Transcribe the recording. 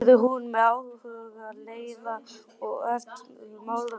spurði hún með áhuga, leiða og ertni í málrómnum.